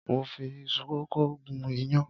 Mo fi iṣu kókò gún iyán.